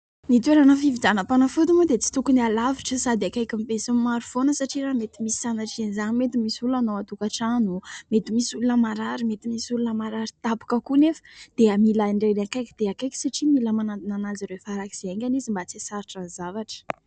Ny toerana fividianampanafody moa dia tsy tokony alavitra sady akaikin'ny be sy ny maro foana satria raha mety misy sanatrian'izany mety misy olana ao antokatrano, mety misy olona marary, mety misy olona marary tampoka koa nefa dia mila an'ireny akaiky dia akaiky satria mila manantona an'azy ireo farak'izay haingana izy mba tsy hahasarotra ny zavatra.